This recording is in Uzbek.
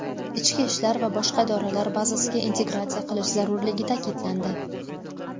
ichki ishlar va boshqa idoralar bazasiga integratsiya qilish zarurligi ta’kidlandi.